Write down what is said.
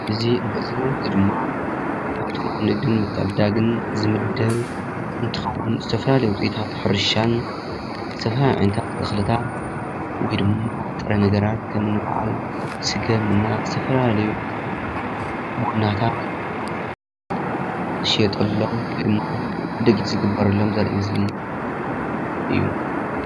እዚ እንሪኦ ዘለና ምስሊ ድማ ካብቶም ንግድን ምትዕድዳግን ዝምደብ እንትኸዉን ዝተፈላለዩ ዉፅኢታት ሕርሻን ዝተፈላለዩ ዓይነታት እኽልታት ወይ ድማ ንጥረ ነገራት ከምኒ ብዓል ስገም እና ዝተፈላለዩ ቡናታት ዝሸየጠሎም ወይ ድማ ዕድጊት ዝግበረሎም ዘርኢ ምስሊ እዩ።